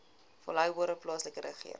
volhoubare plaaslike regering